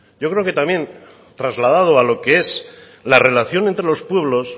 yo creo que también trasladado a lo que es a relación entre los pueblos